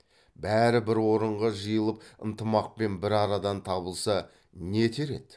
бәрі бір орынға жиылып ынтымақпен бір арадан табылса не етер еді